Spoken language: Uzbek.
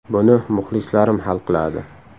Buni muxlislarim hal qiladi.